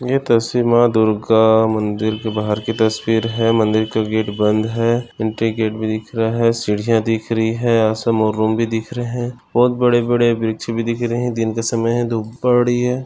ये तस्वीर माँ दुर्गा मंदिर के बाहर की तस्वीर है मंदिर का गेट बंद है एंट्री गेट भी दिख रहा है सीढ़िया दिख रही है यहा समोर रूम भी दिख रहे है बहुत बड़े-बड़े वृक्ष भी दिख रहे है दिन का समय है धूप पड़ी है।